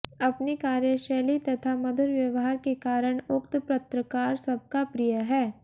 अपनी कार्यशैली तथा मधुर व्यवहार के कारण उक्त पत्रकार सबका प्रिय है